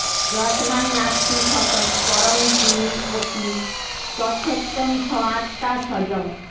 যস্মান্ নাস্তি সতঃ পরং কিম্ অপি তত্সত্যং স আত্মা স্বযং